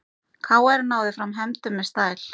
KR náði fram hefndum með stæl